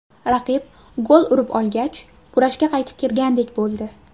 Raqib gol urib olgach, kurashga qaytib kirgandek bo‘ldi.